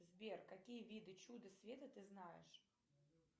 сбер какие виды чуда света ты знаешь